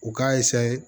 U k'a